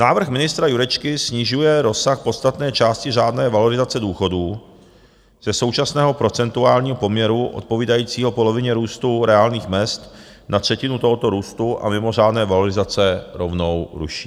Návrh ministra Jurečky snižuje rozsah podstatné části řádné valorizace důchodů ze současného procentuálního poměru odpovídajícího polovině růstu reálných mezd na třetinu tohoto růstu a mimořádné valorizace rovnou ruší.